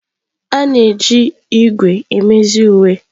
A na-eji ígwè emezi uwe.